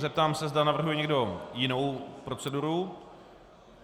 Zeptám se, zda navrhuje někdo jinou proceduru.